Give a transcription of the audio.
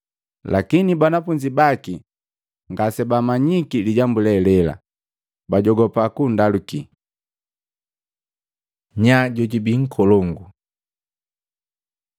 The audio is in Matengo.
Lakini banafunzi baki ngasibamanyiki lijambu le hele, bajogopa kundalukii. Nyaa jojubii nkolongu Matei 18:1-5; Luka 9:46-48